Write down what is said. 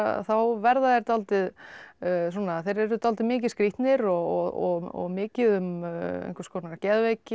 þá verða þeir dálítið svona þeir eru dálítið mikið skrýtnir og mikið um einhvers konar geðveiki eða